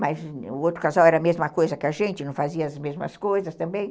Mas o outro casal era a mesma coisa que a gente, não fazia as mesmas coisas também.